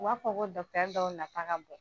U b'a fɔ ko dɔw nata ka bon.